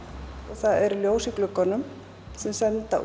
það eru ljós í gluggunum sem senda